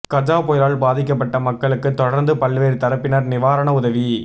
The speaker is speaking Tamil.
கஜா புயலால் பாதிக்கப்பட்ட மக்களுக்கு தொடர்ந்து பல்வேறு தரப்பினர் நிவாரண உதவி